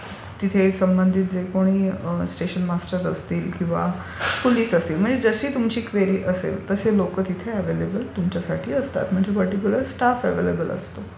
त्या तिथे संबंधित जे कोणी स्टेशन मास्टर असतील किंवा पोलिस असतील म्हणजे जशी तुमची क्वेरी असेल तसे लोकं तिथे अव्यलेबल असतात म्हणजे पर्टीक्युलर स्टाफ अव्यलेबल असतो.